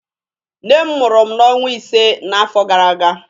Nne m mụrụ mụ n'ọnwa ise n'afọ gara aga.